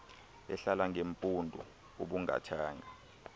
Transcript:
ehlala ngeempundu ubungathanga